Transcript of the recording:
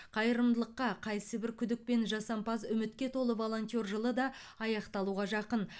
қайырымдылыққа қайсыбір күдік пен жасампаз үмітке толы волонтер жылы да аяқталуға жақын